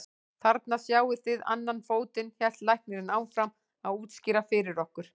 Þarna sjáið þið annan fótinn, hélt læknirinn áfram að útskýra fyrir okkur.